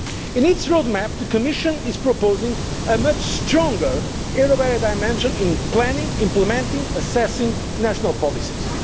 upon it. In its road map, the Commission is proposing a much stronger euro area dimension in planning, implementing and assessing national